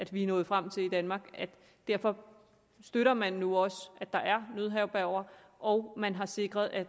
vi er nået frem til i danmark derfor støtter man nu også at der er nødherberger og man har sikret at